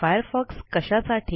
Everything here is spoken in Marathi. फायरफॉक्स कशासाठी